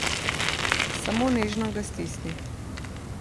Samo nežno ga stisni.